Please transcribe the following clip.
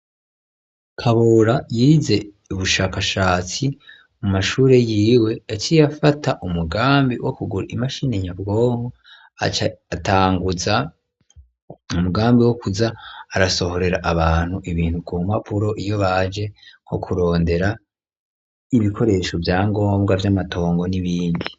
Kabura yarize ubushakashatsi mu mashuri yiwe yaciye afata umugambi wo kugura imashini nyabwonko atanguza umugambi wo kuza arasohorera abantu ibintu ku mpapuro iyo baje nko kurondera ibikoresho, ivyangombwa vy'amatongo n'ibindi.